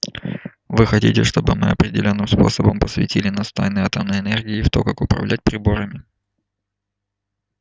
вы хотите чтобы мы определённым способом посвятили нас в тайны атомной энергии и в то как управлять приборами